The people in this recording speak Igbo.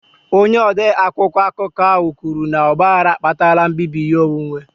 Onye ode akwụkwọ akụkọ ahụ kwuru na ọgbaghara akpatala mbibi ihe onwunwe